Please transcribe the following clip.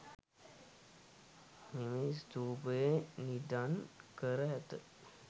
මෙම ස්තූපයේ නිධන් කර ඇත.